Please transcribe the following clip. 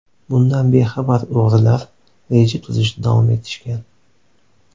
Bundan bexabar o‘g‘rilar reja tuzishda davom etishgan.